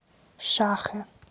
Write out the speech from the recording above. шахэ